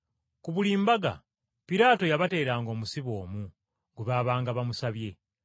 Ku buli mbaga, Piraato yabateeranga omusibe omu gwe baabanga bamusabye.